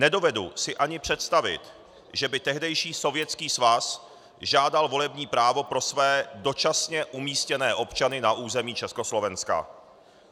Nedovedu si ani představit, že by tehdejší Sovětský svaz žádal volební právo pro své dočasně umístěné občany na území Československa.